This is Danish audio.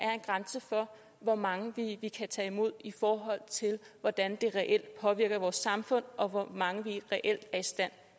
er en grænse for hvor mange vi kan tage imod i forhold til hvordan det reelt påvirker vores samfund og hvor mange vi reelt er i stand